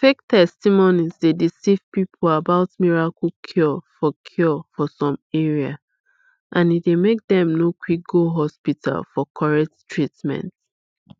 fake testimonies dey deceive people about miracle cure for cure for some area and e dey make dem no quick go hospital for correct treatment